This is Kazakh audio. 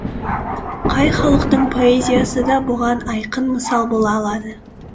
қай халықтың поэзиясы да бұған айқын мысал бола алады